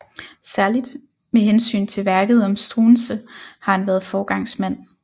Særligt med hensyn til værket om Struensee har han været foregangsmand